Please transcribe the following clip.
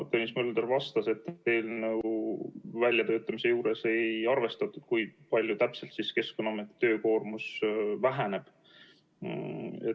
Tõnis Mölder vastas, et eelnõu väljatöötamise juures ei arvestatud, kui palju täpselt Keskkonnaameti töökoormus väheneb.